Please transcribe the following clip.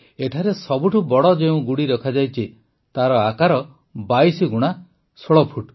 ଏଠାରେ ସବୁଠୁ ବଡ଼ ଯେଉଁ ଗୁଡ଼ି ରଖାଯାଇଛି ତାର ଆକାର ୨୨ ଗୁଣା ୧୬ ଫୁଟ